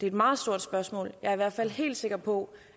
et meget stort spørgsmål jeg er i hvert fald helt sikker på